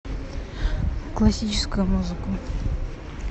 классическую музыку